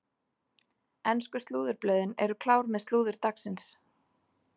Ensku slúðurblöðin eru klár með slúður dagsins.